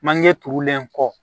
Manje turulen kɔ